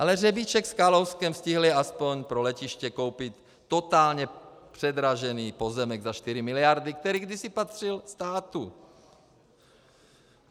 Ale Řebíček s Kalouskem stihli aspoň pro letiště koupit totálně předražený pozemek za 4 miliardy, který kdysi patřil státu.